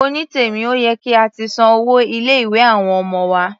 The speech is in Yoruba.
Onítèmí, ó yẹ kí a ti san owó ilé-ìwé àwọn ọmọ wa.